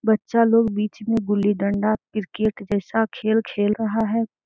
बच्चा लोग बिच में गुल्ली डंडा क्रिकेट जैसा खेल-खेल रहा है।